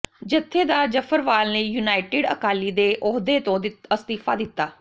ਜਥੇਦਾਰ ਜ਼ਫ਼ਰਵਾਲ ਨੇ ਯੂਨਾਈਟਿਡ ਅਕਾਲੀ ਦੇ ਦੇ ਅਹੁਦੇ ਤੋਂ ਅਸਤੀਫ਼ਾ ਦਿਤਾ